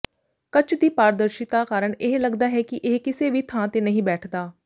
ਕੱਚ ਦੀ ਪਾਰਦਰਸ਼ਿਤਾ ਕਾਰਨ ਇਹ ਲਗਦਾ ਹੈ ਕਿ ਇਹ ਕਿਸੇ ਵੀ ਥਾਂ ਤੇ ਨਹੀਂ ਬੈਠਦਾ